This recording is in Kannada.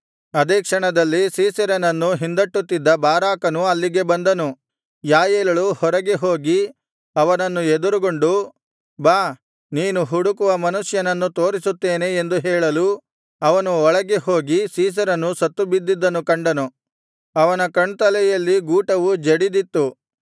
ಅದೇ ಕ್ಷಣದಲ್ಲಿ ಸೀಸೆರನನ್ನು ಹಿಂದಟ್ಟುತ್ತಿದ್ದ ಬಾರಾಕನು ಅಲ್ಲಿಗೆ ಬಂದನು ಯಾಯೇಲಳು ಹೊರಗೆ ಹೋಗಿ ಅವನನ್ನು ಎದುರುಗೊಂಡು ಬಾ ನೀನು ಹುಡುಕುವ ಮನುಷ್ಯನನ್ನು ತೋರಿಸುತ್ತೇನೆ ಎಂದು ಹೇಳಲು ಅವನು ಒಳಗೆ ಹೋಗಿ ಸೀಸೆರನು ಸತ್ತು ಬಿದ್ದದ್ದನ್ನು ಕಂಡನು ಅವನ ಕಣ್ತಲೆಯಲ್ಲಿ ಗೂಟವು ಜಡಿದಿತ್ತು